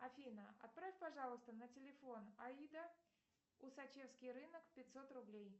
афина отправь пожалуйста на телефон аида усачевский рынок пятьсот рублей